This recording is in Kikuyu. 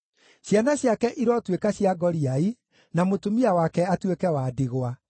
Ciana ciake irotuĩka cia ngoriai, na mũtumia wake atuĩke wa ndigwa.